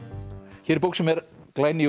hér er bók sem er glæný úr